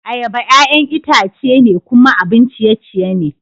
Ayaba, ƴa'ƴan itace ne kuma abun ciye-ciye ne.